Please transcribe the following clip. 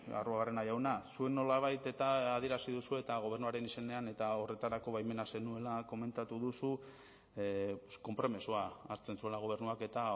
arruabarrena jauna zuek nolabait eta adierazi duzue eta gobernuaren izenean eta horretarako baimena zenuela komentatu duzu pues konpromisoa hartzen zuela gobernuak eta